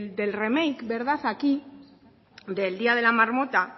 de del remake aquí del día de la marmota